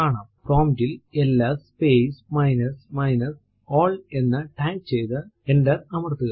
prompt ൽ LS space minus minus all എന്ന് type ചെയ്തു എന്റർ അമർത്തുക